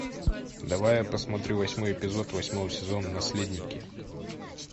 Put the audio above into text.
давай я посмотрю восьмой эпизод восьмого сезона наследники